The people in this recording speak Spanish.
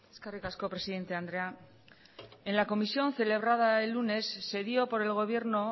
eskerrik asko presidente andrea en la comisión celebrada el lunes se dio por el gobierno